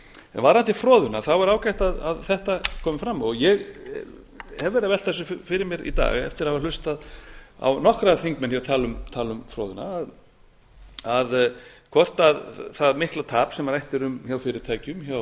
varðandi froðuna þá er ágætt að þetta kom fram ég hef verið að velta þessu fyrir mér í dag eftir að hafa hlustað á nokkra þingmenn hér tala um froðuna hvort það mikla tap sem rætt er um hjá fyrirtækjum hjá